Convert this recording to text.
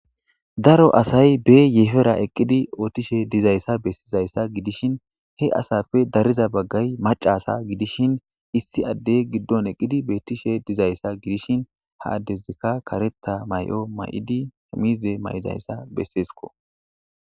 Daro asay be yeefera eqqidi ootishe dizayssa bessizayssa gidishin he asafe dariza baggay macasa gidishin isti addey giddon eqqidi beettishe dizayssa gidishin ha addesikka karetha may'o may'idi hemizde may'idayssa bessesko.